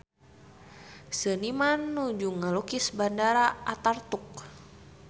Seniman nuju ngalukis Bandara Ataturk